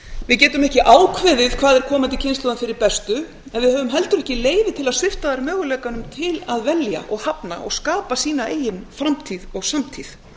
við getum ekki ákveðið hvað er komandi kynslóðum fyrir bestu en við höfum heldur ekki leyfi til að svipta þær möguleikanum til að velja og hafna og skapa sína eigin framtíð og samtíð